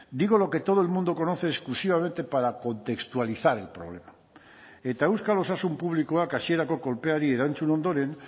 digo lo que todo el mundo conoce exclusivamente para contextualizar el problema eta euskal osasun publikoak hasierako kolpeari erantzun ondoren